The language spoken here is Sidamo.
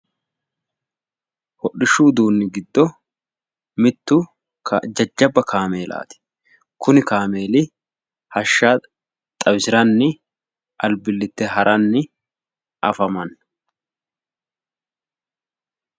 Hodhishshu uduunni giddo mittu jajjabba kameelaati kuni kaameeli hashsha xawisiranni albilite ha'ranni afamanno.